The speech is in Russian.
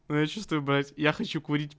я чувствую блять я хочу курить